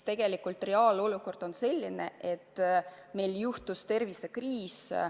Tegelikult reaalne olukord on selline, et meid tabas tervisekriis.